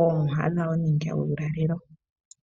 oomwiha dhawo nuulalelo.